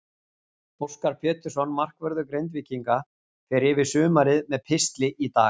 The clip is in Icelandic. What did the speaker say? Óskar Pétursson, markvörður Grindvíkinga, fer yfir sumarið með pistli í dag.